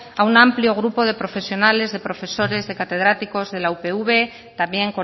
a un amplio grupo de profesionales de profesores de catedráticos de la upv también